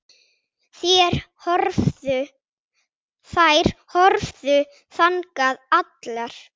Þær horfðu þangað allar.